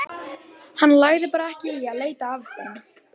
Hann lagði bara ekki í að leita að þeim.